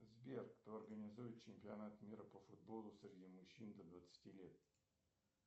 сбер кто организует чемпионат мира по футболу среди мужчин до двадцати лет